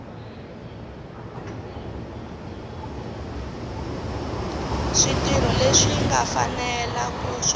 switirho leswi nga fanela swa